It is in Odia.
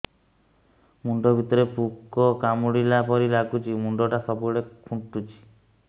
ମୁଣ୍ଡ ଭିତରେ ପୁକ କାମୁଡ଼ିଲା ପରି ଲାଗୁଛି ମୁଣ୍ଡ ଟା ସବୁବେଳେ କୁଣ୍ଡୁଚି